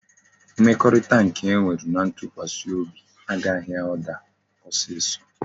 Mmekorita nke e wuru na ntukwasi obi a gaghi a daa osiso